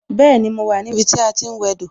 Bẹẹni, mo wà ní ibi tí a ti ń wẹ dò